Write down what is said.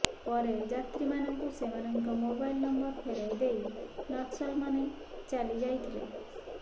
ପରେ ଯାତ୍ରୀମାନଙ୍କୁୁ ସେମାନଙ୍କ ମୋବାଇଲ ନମ୍ବର ଫେରାଇ ଦେଇ ନକ୍ସଲମାନେ ଚାଲି ଯାଇଥିଲେ